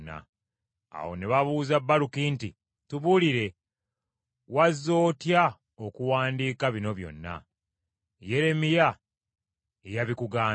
Awo ne babuuza Baluki nti, “Tubuulire, wazze otya okuwandiika bino byonna? Yeremiya ye yabikugambye?”